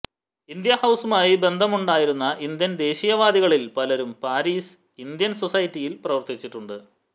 India ഹൌസുമായി ബന്ധമുണ്ടായിരുന്ന Indian ദേശീയവാദികളിൽ പലരും പാരീസ് ഇന്ത്യൻ സൊസൈറ്റിയിൽ പ്രവർത്തിച്ചിട്ടുണ്ട്